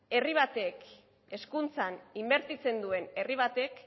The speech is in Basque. herri batek hezkuntzan inbertitzen duen herri batek